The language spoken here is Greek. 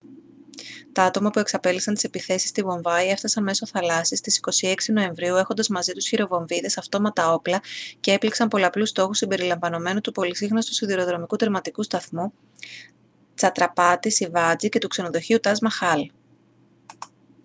τα άτομα που εξαπέλυσαν τις επιθέσεις στη βομβάη έφτασαν μέσω θαλάσσης στις 26 νοεμβρίου έχοντας μαζί τους χειροβομβίδες αυτόματα όπλα και έπληξαν πολλαπλούς στόχους συμπεριλαμβανομένου του πολυσύχναστου σιδηροδρομικού τερματικού σταθμού τσατραπάτι σιβάτζι και του ξενοδοχείου ταζ μαχάλ